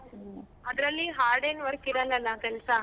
ಹ್ಮ್ ಅದ್ರಲ್ಲಿ hard ಏನ್ work ಇರಲ್ಲಲ್ಲ ಕೆಲ್ಸ?